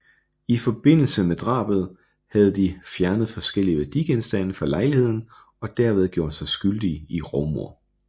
I forbindelse med drabet havde de fjernet forskellige værdigenstande fra lejligheden og derved gjort sig skyldige i rovmord